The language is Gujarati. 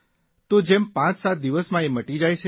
તો જેમ પાંચસાત દિવસમાં એ મટી જાય છે